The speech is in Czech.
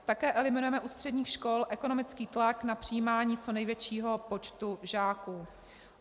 Také eliminujeme u středních škol ekonomický tlak na přijímání co největšího počtu žáků.